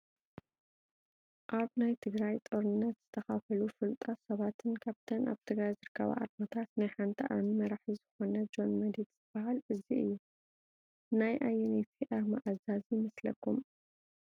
ኣብ ናይ ትግራይ ጦርነት ዝተኻፈሉ ፈሉጣት ሰባትን ካብተን ኣብ ትግራይ ዝርከባ ኣርማታት ናይ ሓንቲ ኣርሚ መራሒ ዝኾነ ጆን መዲድ ዝባሃል እዚ እዩ፡፡ ናይ ኣየነይቲ ኣርሚ ኣዛዚ ይመስለኩም?